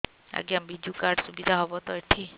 ଆଜ୍ଞା ବିଜୁ କାର୍ଡ ସୁବିଧା ହବ ତ ଏଠି